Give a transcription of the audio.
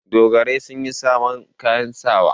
Dogarai sun yi sabon kayan sawa.